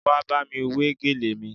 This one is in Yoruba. Wá bámi wé gèlè mi